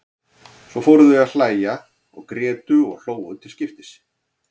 Svo fóru þau að hlæja og grétu og hlógu til skiptis.